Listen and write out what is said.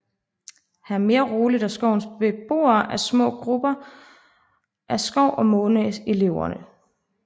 Her er mere roligt og skoven beboes af små grupper af skov og måne elvere